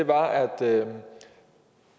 var at